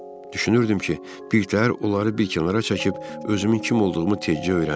Düşünürdüm ki, birtəhər onları bir kənara çəkib özümün kim olduğumu tezcə öyrənim.